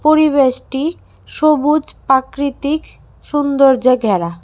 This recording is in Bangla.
পরিবেশটি সবুজ প্রাকৃতিক সৌন্দর্যে ঘেরা।